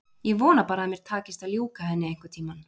Ég vona bara að mér takist að ljúka henni einhvern tíma.